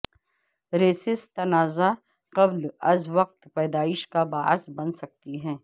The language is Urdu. ریسس تنازعہ قبل از وقت پیدائش کا باعث بن سکتی